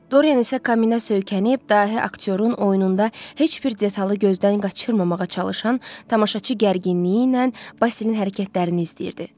Doryan isə Kaminə söykənib, dahi aktyorun oyununda heç bir detalı gözdən qaçırmamağa çalışan tamaşaçı gərginliyi ilə Basilin hərəkətlərini izləyirdi.